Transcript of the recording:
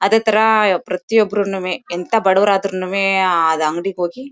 ಅದೇ ಥರ ಪ್ರತಿಯೊಬ್ಬರು ನುವೆ ಎಂಥಾ ಬಡವರಾದ್ರೂನೂವೆ ಆದ್ ಅಂಗಡಿಗೆ ಹೋಗಿ--